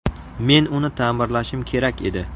Men uni ta’mirlashim kerak edi.